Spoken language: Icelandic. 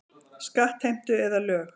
Skattheimtu eða lög.